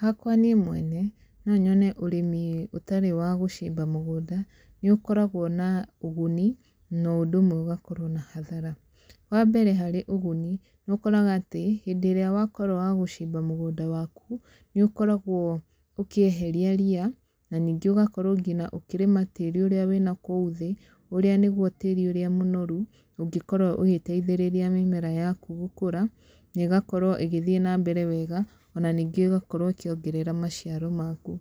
Hakwa niĩ mwene, noyone ũrĩmi ũtarĩ wa gũcimba mũgũnda nĩ ũkoragwo na ũguni no ũndũ ũmwe ũgakorwo na hathara, wa mbere harĩ ũguni, nĩ ũkoraga atĩ hĩndĩ ĩrĩa wakorwo wagũcimba mũgũnda waku, nĩ ũkoragwo ũkĩeheria ria na ningĩ ũgakorwo ngina ũkĩrĩma tĩri ũrĩa wĩna kũu thĩ, ũrĩa nĩguo tĩri ũrĩa mũnoru, ũngĩkorwo ũgĩteithĩrĩria mĩmera yaku gũkũra, negakorwo ĩgĩthiĩ na mbere wega, ona ningĩ ĩgakorwo ĩkĩongerera maciaro maku,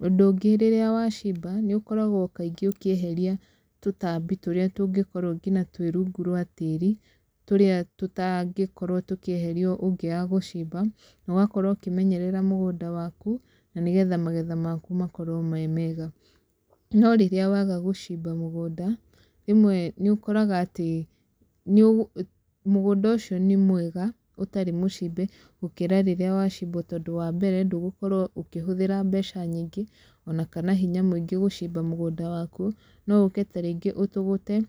ũndũ ũngĩ rĩrĩa wacimba nĩ ũkoragwo kaingĩ ũkĩeheria tũtambi tũrĩa tũngĩkorwo nginya twĩ rungu rwa tĩri, tũrĩa tũtangĩkorwo tũkĩeherio ũngĩaga gũcimba, no gakorwo ũkĩmenyerera mũgũnda waku, na nĩgetha magetha maku makorwo me mega, no rĩrĩa waga gũcimba mũgũnda, rĩmwe nĩ ũkoragaga atĩ nĩũ, mũgũnda ũcio nĩ mwega ũtarĩ mũcimbe, gũkĩra rĩrĩa ũtarĩ mũcimbe tondũ wa mbere, ndũgũkorwo ũkĩhũthĩra mbeca nyingĩ, onakana hinya mwĩingĩ gũcimba mũgũnda waku, no ũke ta rĩngĩ ũtũgũte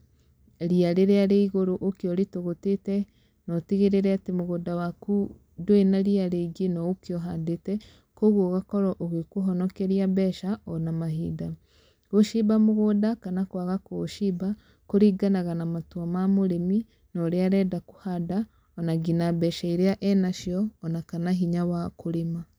ria rĩrĩa rĩ igũrũ ũke ũrĩtũgũtĩte, na ũtigĩrĩre ati mũgũnda waku ndũrĩ na ria rĩingĩ na ũke ũhandĩte, koguo ũgakorwo ũgĩkũhonokeria mbeca, ona mahinda, gũcimba mũgũnda kana kwaga kũũcimba, kũringanaga na matwa ma mũrĩmi, norĩa arenda kũhanda, ona nginya mbeca irĩa enacio, ona kana hinya wa kũrĩma.